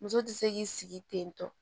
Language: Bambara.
Muso tɛ se k'i sigi tentɔ